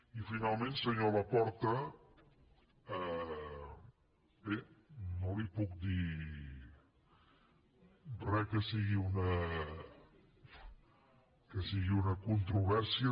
i finalment senyor laporta bé no li puc dir re que sigui una controvèrsia